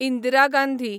Indira Gandhi